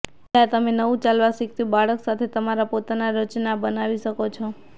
ઇંડા તમે નવું ચાલવા શીખતું બાળક સાથે તમારા પોતાના રચના બનાવી શકો છો